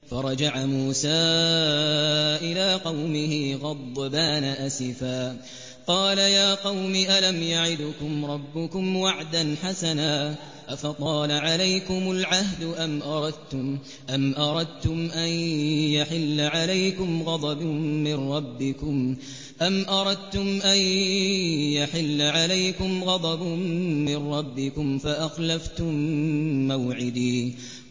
فَرَجَعَ مُوسَىٰ إِلَىٰ قَوْمِهِ غَضْبَانَ أَسِفًا ۚ قَالَ يَا قَوْمِ أَلَمْ يَعِدْكُمْ رَبُّكُمْ وَعْدًا حَسَنًا ۚ أَفَطَالَ عَلَيْكُمُ الْعَهْدُ أَمْ أَرَدتُّمْ أَن يَحِلَّ عَلَيْكُمْ غَضَبٌ مِّن رَّبِّكُمْ فَأَخْلَفْتُم مَّوْعِدِي